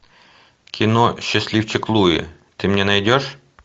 кино счастливчик луи ты мне найдешь